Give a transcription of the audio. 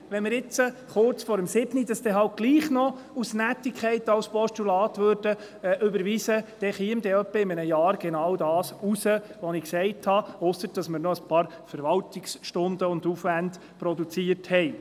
Wenn wir es kurz vor 19 Uhr doch noch als Postulat überweisen würden, aus Nettigkeit, dann käme ungefähr in einem halben Jahr genau das heraus, was ich gesagt habe – ausser, dass wir noch ein paar Verwaltungsstunden und -aufwände produziert hätten.